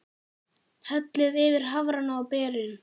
Hellið yfir hafrana og berin.